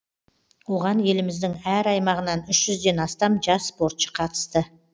оған еліміздің әр аймағынан үш жүзден астам жас спортшы қатысты